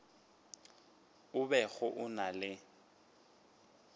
a bego a na le